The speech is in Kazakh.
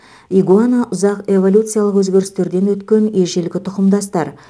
игуана ұзақ эволюциялық өзгерістерден өткен ежелгі тұқымдастар